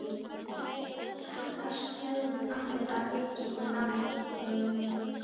Brátt taka skelfd andlit að gægjast út úr nálægum klefum.